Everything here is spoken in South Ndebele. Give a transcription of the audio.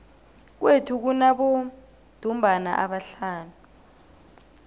kwethu kunabodumbana abahlanu